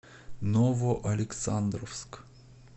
новоалександровск